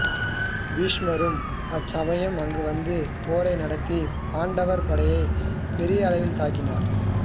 பீஷ்மரும் அச்சமயம் அங்குவந்து போரை நடத்தி பாண்டவர் படையை பெரிய அளவில் தாக்கினார்